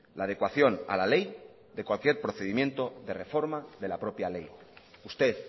la adecuación a la ley de cualquier procedimiento de reforma de la propia ley usted